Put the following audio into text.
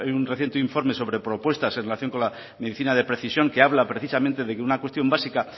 vuelve a haber un reciente informe sobre propuestas en relación con la medicina de precisión que habla precisamente de que una cuestión básica